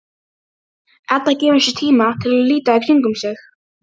Edda gefur sér tíma til að líta í kringum sig.